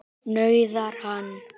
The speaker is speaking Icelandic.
nauðar hann.